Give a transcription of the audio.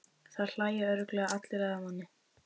Það hlæja örugglega allir að manni.